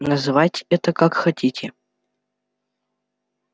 называйте это как хотите